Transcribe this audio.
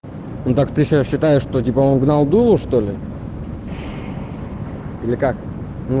ну так ты сейчас считаешь что типа он гнал дулу что ли или как н